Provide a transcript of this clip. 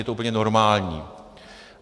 Je to úplně normální.